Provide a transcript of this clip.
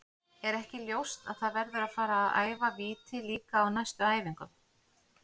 Er ekki ljóst að það verður að fara að æfa víti líka á næstu æfingum?